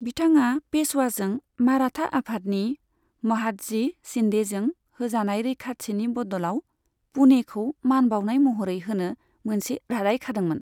बिथाङा पेशवाजों माराठा आफादनि महादजी शिन्देजों होजानाय रैखाथिनि बदलाव पुणेखौ मान बाउनाय महरै होनो मोनसे रादाय खादोंमोन।